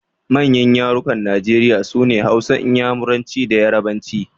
Manyan yarukan Najeriya sune Hausa, Inyamuranci da Yarabanci.